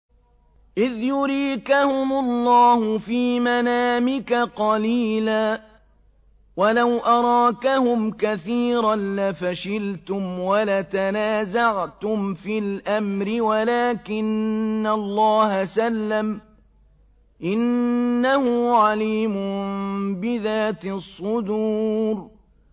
إِذْ يُرِيكَهُمُ اللَّهُ فِي مَنَامِكَ قَلِيلًا ۖ وَلَوْ أَرَاكَهُمْ كَثِيرًا لَّفَشِلْتُمْ وَلَتَنَازَعْتُمْ فِي الْأَمْرِ وَلَٰكِنَّ اللَّهَ سَلَّمَ ۗ إِنَّهُ عَلِيمٌ بِذَاتِ الصُّدُورِ